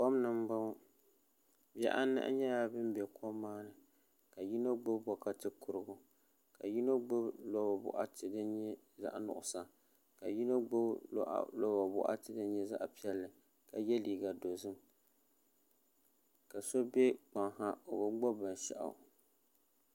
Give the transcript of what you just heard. Kom ni m-bɔŋɔ bihi anahi nyɛla ban be kom maa ni ka yino ɡbubi bɔkati kuriɡu ka yino ɡbubi ɡbambila bɔkati din nyɛ zaɣ' nuɣiso ka yino ɡbui lɔba bɔɣati din nyɛ zaɣ' piɛlli ka ye liiɡa dɔzim ka so be kpaŋa ha o bi ɡbubi binshɛɣu